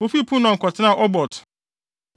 Wofii Punon kɔtenaa Obot.